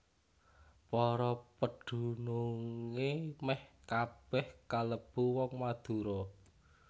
Para pedunungé mèh kabèh kalebu wong Madura